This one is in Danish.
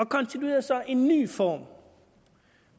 konstituerede så en ny form